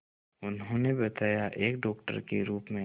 उन्होंने बताया एक डॉक्टर के रूप में